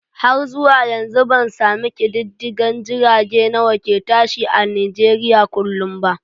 Har zuwa yanzu bansami ƙididdigan jirage nawane ke tashi a nijeriya kullum ba